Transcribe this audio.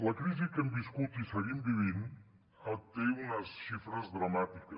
la crisi que hem viscut i seguim vivint té unes xifres dramàtiques